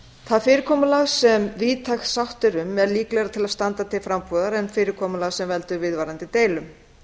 það fyrirkomulag sem víðtæk sátt er um er líklegra til að standa til frambúðar en fyrirkomulag sem veldur viðvarandi deilum